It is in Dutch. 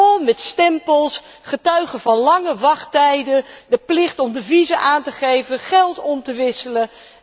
Vol met stempels, getuigen van lange wachttijden, de plicht om deviezen aan te geven, geld om te wisselen.